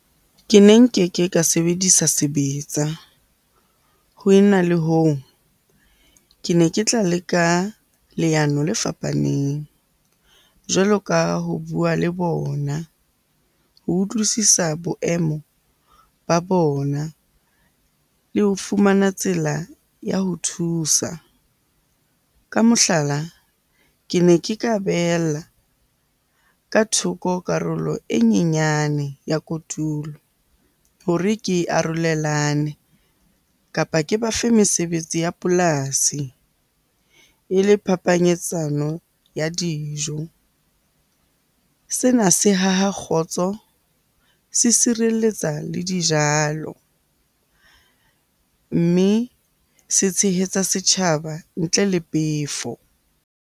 Ke ne nkeke ka sebedisa sebetsa. Ho e na le hoo, ke ne ke tla leka leano le fapaneng jwalo ka ho bua le bona ho utlwisisa boemo ba bona le ho fumana tsela ya ho thusa. Ka mohlala, ke ne ke ka behella ka thoko karolo e nyenyane ya kotulo hore ke arolelane kapa ke ba fe mesebetsi ya polasi e le phapanyetsano ya dijo. Sena se haha kgotso, se sireletsa le dijalo, mme se tshehetsa setjhaba ntle le pefo.